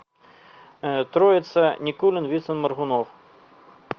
троица никулин вицин моргунов